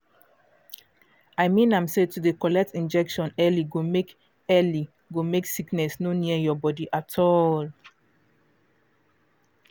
i mean am say to dey collect injection early go make early go make sickness no near your body at all